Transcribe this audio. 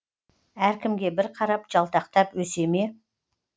әркімге бір қарап жалтақтап өсе ме